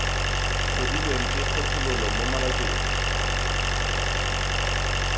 tlhodilweng ke kgethololo mo mabakeng